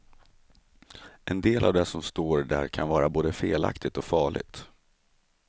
En del av det som står där kan vara både felaktigt och farligt.